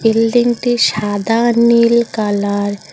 Building -টি সাদা নীল কালার ।